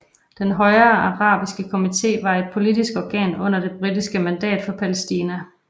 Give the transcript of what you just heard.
Den højere arabiske komité var et politisk organ under det britiske mandat for Palæstina